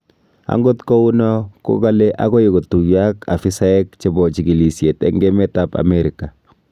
Angot kou no ko kale agoi kotuiyo ak afisaiyek chebo chikilisyet eng emet ab Amerika